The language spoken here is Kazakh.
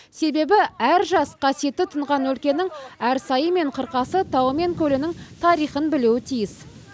себебі әр жас қасиетті тұнған өлкенің әр сайы мен қырқасы тауы мен көлінің тарихын біліуі тиіс